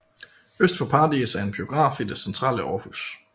Øst for Paradis er en biograf i det centrale Aarhus